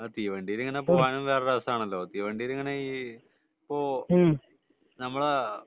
തീവണ്ടിയിൽ ഇങ്ങനെ പോകാൻ ഒരു രസാണല്ലോ തീവണ്ടിയിൽ ഇങ്ങനെ ഇപ്പൊ നമ്മളെ